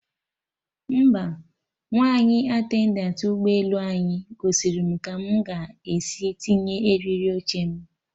Mba, Nwaanyị attendantị ụgbọ elu anyị gosiri mụ ka mụ ga esi tinye eriri oche m